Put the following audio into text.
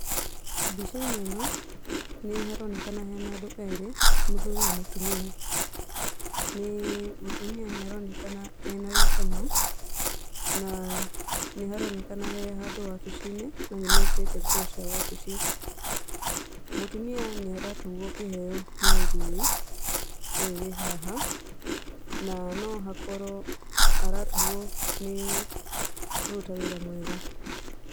Mbicainĩ ĩno nĩ haronekana hena andũ erĩ, mũthuri na mũtumia. Mutumia nĩ aronekana ena gĩkeno na nĩharonekana he handũ wabici-inĩ na nĩ mekĩrĩte nguo cia wabici. Mũtumia nĩaratugwo kĩheo nĩ mũthuri ũyũ wĩ haha, na no hakorwo aratugwo nĩ kũruta wĩra mwega.